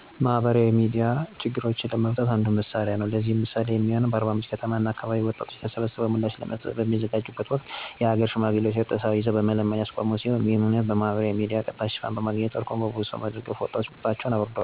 በአገራችን ነባራዊ ሁኔታ ካየነው ማህበራዊ ሚዲያ በግልጽ ችግሮችን ለመፍታት ወይም ሰዎችን አንድላይ ለማምጣት የረዳው ቅርብ ጊዜ ሲሆን እሱም በደቡብ ኢትዮጵያ ክልል ጋሞ ዞን አርባምንጭ ከተማ ነበር። ይሄም የሆነው በቡራዩ አከባቢ የሞቱ የጋሞ ተወላጆች ምክንያት የተቆጡ የአርባምንጭ ከተማ እና አከባቢ ወጣቶች ተሰብስበው ምላሽ ለመስጠት በሚዘጋጁበት ወቅት የሀገር ሽማግሌዎች እርጥብ ሳር ይዘው በመለመን ያስቆሙ ሲሆን ይሄም ሁነት በማህበራዊ ሚዲያ ቀጥታ ሽፋን በማግኘቱ እና እርቁን ብዙ ሰው በመደገፉ ወጣቶች ቁጣቸውን አብርደዋል።